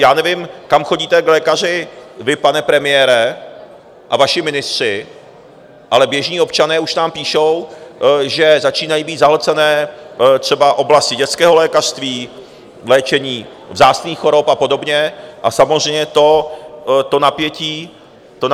Já nevím, kam chodíte k lékaři vy, pane premiére, a vaši ministři, ale běžní občané už nám píšou, že začínají být zahlcené třeba oblasti dětského lékařství, léčení vzácných chorob a podobně, a samozřejmě to napětí stoupá.